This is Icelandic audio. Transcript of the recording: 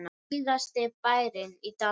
Síðasti bærinn í dalnum